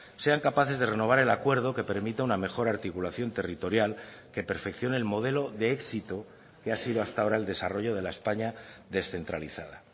sean capaces de renovar el acuerdo que permita una mejor articulación territorial que perfeccione el modelo de éxito que ha sido hasta ahora el desarrollo de la españa descentralizada